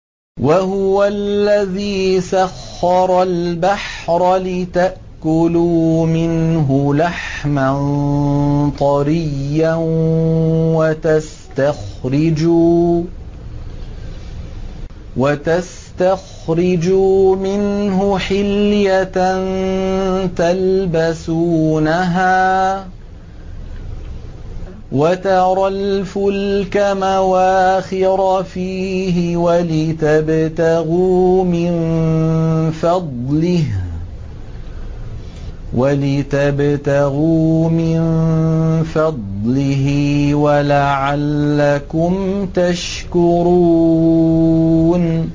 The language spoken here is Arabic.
وَهُوَ الَّذِي سَخَّرَ الْبَحْرَ لِتَأْكُلُوا مِنْهُ لَحْمًا طَرِيًّا وَتَسْتَخْرِجُوا مِنْهُ حِلْيَةً تَلْبَسُونَهَا وَتَرَى الْفُلْكَ مَوَاخِرَ فِيهِ وَلِتَبْتَغُوا مِن فَضْلِهِ وَلَعَلَّكُمْ تَشْكُرُونَ